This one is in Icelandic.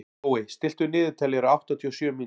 Glóey, stilltu niðurteljara á áttatíu og sjö mínútur.